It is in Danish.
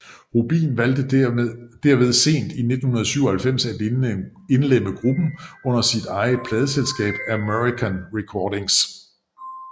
Rubin valgte derved sent i 1997 at indlemme gruppen under sit eget pladeselskab American Recordings